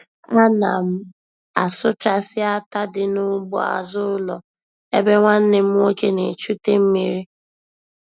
A na m asụchasị átá dị n'ugbo azụ ụlọ ebe nwanne m nwoke na-echute mmiri.